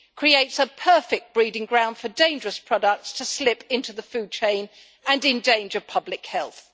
creates a perfect breeding ground for dangerous products to slip into the food chain and endanger public health.